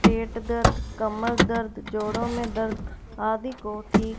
पेट दर्द कमर दर्द जोड़ों में दर्द आदि को ठीक--